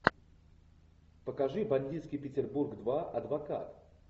покажи бандитский петербург два адвокат